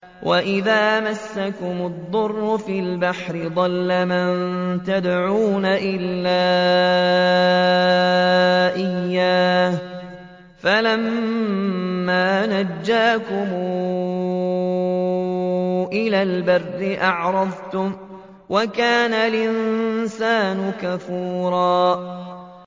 وَإِذَا مَسَّكُمُ الضُّرُّ فِي الْبَحْرِ ضَلَّ مَن تَدْعُونَ إِلَّا إِيَّاهُ ۖ فَلَمَّا نَجَّاكُمْ إِلَى الْبَرِّ أَعْرَضْتُمْ ۚ وَكَانَ الْإِنسَانُ كَفُورًا